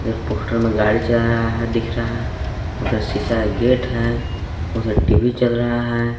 Poster मे गाड़ी चला रहा है दिख रहा है। उधर सीसा का गेट है। उधर टी_वी चल रहा है।